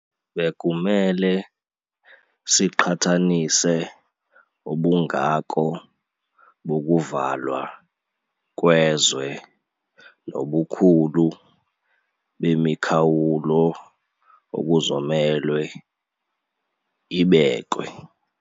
Bekumele siqhathanise ubungako bokuvalwa kwezwe nobukhulu bemikhawulo okuzomelwe ibekwe.